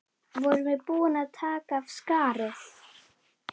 Vorum við búin að taka af skarið?